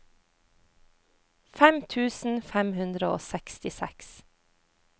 fem tusen fem hundre og sekstiseks